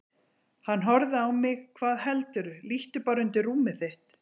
Hann horfði á mig: Hvað heldurðu, líttu bara undir rúmið þitt.